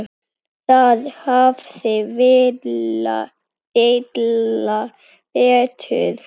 Þar hafði Villa betur.